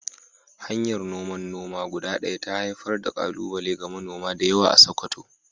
Hanyar noman noma guda ɗaya ta haifar da ƙalubale ga manoma da yawa a Sakkwato.